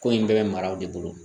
Ko in bɛɛ bɛ maraw de bolo